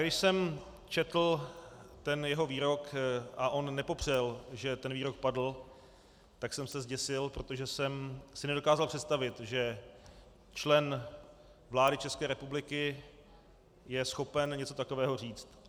Když jsem četl ten jeho výrok, a on nepopřel, že ten výrok padl, tak jsem se zděsil, protože jsem si nedokázal představit, že člen vlády České republiky je schopen něco takového říct.